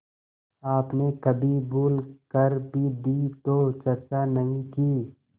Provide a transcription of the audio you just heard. आपने कभी भूल कर भी दी तो चर्चा नहीं की